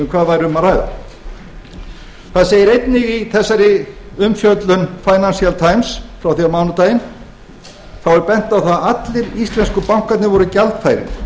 hvað væri að ræða það segir einnig í þessari umfjöllun financial times frá því á mánudaginn þá er bent á það að allir íslensku bankarnir voru gjaldfærir